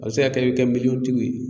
A bɛ se ka kɛ i bɛ kɛ miliyɔn tigiw ye.